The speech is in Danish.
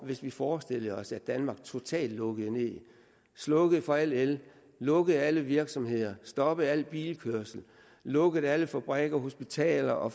hvis vi forestillede os at danmark totalt lukkede ned slukkede for al el lukkede alle virksomheder stoppede al bilkørsel og lukkede alle fabrikker og hospitaler og